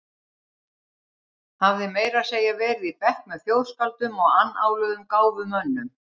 Hafði meira að segja verið í bekk með þjóðskáldum og annáluðum gáfumönnum.